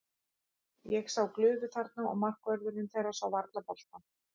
Ég sá glufu þarna og markvörðurinn þeirra sá varla boltann.